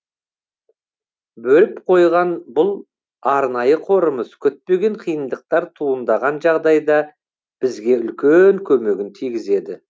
бөліп қойған бұл арнайы қорымыз күтпеген қиындықтар туындаған жағдайда бізге үлкен көмегін тигізеді